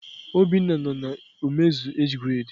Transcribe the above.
Obinna no na omezu age grade.